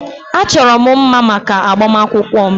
Achọrọ m mma maka agbamakwụkwọ m.